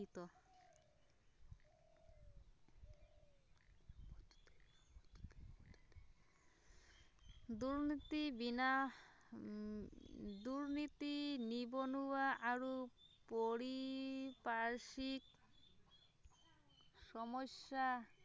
চুটি বিনা উম দুৰ্নীতি, নিবনুৱা আৰু পৰিপাৰ্শিক সমস্যা